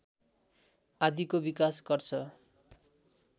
आदिको विकास गर्छ